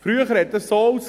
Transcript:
früher sah dies so aus.